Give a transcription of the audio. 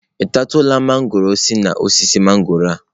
Ị tatụla mangọrọ si na osisi mangọrọ a?